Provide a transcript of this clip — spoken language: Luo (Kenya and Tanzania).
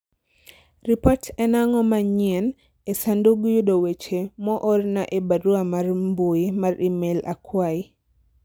ripot en ang'o manyien e sandug yudo weche moorna e barua mar mbui mar email akwayi